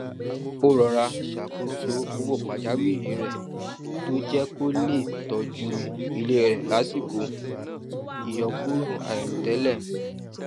ó rọra ṣàkóso owó pajawiri rẹ tó jẹ kó lè tọjú ilé rè lásìkò ìyọkúrò àìròtẹlẹ